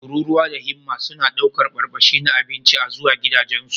Tururuwa da himma suna ɗaukar barbashi na abinci a zuwa gidajensu.